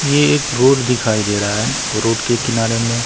ये एक रोड दिखाई दे रहा है रोड के किनारे में--